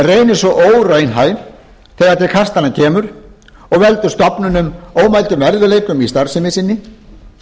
reynist svo óraunhæf þegar til kastanna kemur og veldur stofnunum ómældum erfiðleikum í starfsemi sinni